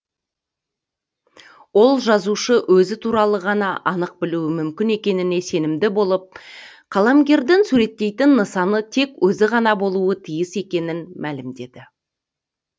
ол жазушы өзі туралы ғана анық білуі мүмкін екеніне сенімді болып қаламгердің суреттейтін нысанысы тек өзі ғана болуы тиіс екенін мәлімдеді